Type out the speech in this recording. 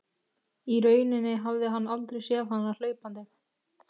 Í rauninni hafði hann aldrei séð hana hlaupandi.